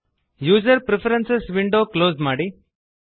user preferences window close ಮಾಡಿ